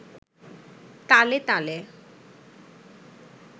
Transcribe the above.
তালে তালে